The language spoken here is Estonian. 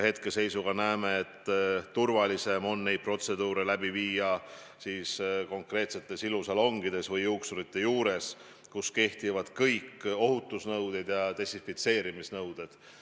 Hetkel me arvame, et turvalisem on neid protseduure läbi viia ilusalongides ja juuksurite juures, kus kehtivad kõik desinfitseerimise ja muud ohutusnõuded.